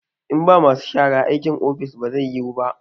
In ba masu shara, aikin ofis ba zai yiwu ba